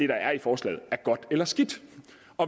der er i forslaget er godt eller skidt